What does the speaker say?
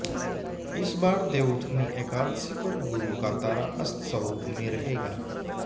इस बार देवउठनी एकादशी पर गुरु का तारा अस्त स्वरूप में रहेगा